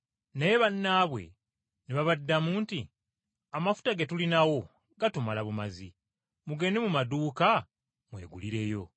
“Naye bannaabwe ne babaddamu nti, ‘Amafuta ge tulinawo gatumala bumazi. Mugende mu maduuka mwegulireyo.’